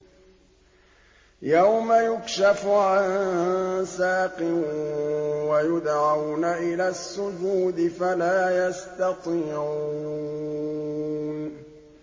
يَوْمَ يُكْشَفُ عَن سَاقٍ وَيُدْعَوْنَ إِلَى السُّجُودِ فَلَا يَسْتَطِيعُونَ